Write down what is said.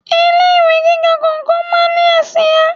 Ilé ìwé gíga kọ̀ọ̀kan máa ń ní àsìá.